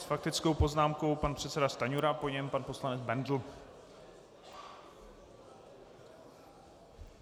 S faktickou poznámkou pan předseda Stanjura, po něm pan poslanec Bendl.